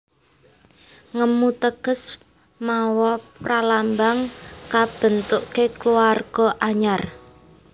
Ngemu teges mawa pralambang kabentuké kulawarga anyar